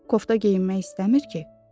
Kofta geyinmek istəmir ki?